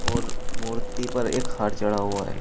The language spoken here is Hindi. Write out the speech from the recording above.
और मूर्ति पर एक हार चढ़ा हुआ है।